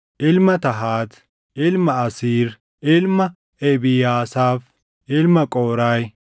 ilma Tahaat, ilma Asiir, ilma Ebiyaasaaf, ilma Qooraahi,